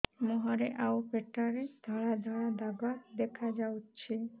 ମୁହଁରେ ଆଉ ପେଟରେ ଧଳା ଧଳା ଦାଗ ଦେଖାଯାଉଛି